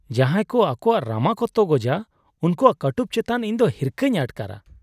ᱡᱟᱦᱟᱸᱭ ᱠᱚ ᱟᱠᱚᱣᱟᱜ ᱨᱟᱢᱟ ᱠᱚ ᱛᱚᱜᱚᱡᱟ ᱩᱱᱠᱩᱣᱟᱜ ᱠᱟᱹᱴᱩᱵ ᱪᱮᱛᱟᱱ ᱤᱧᱫᱚ ᱦᱤᱨᱠᱷᱟᱹᱧ ᱟᱴᱠᱟᱨᱟ ᱾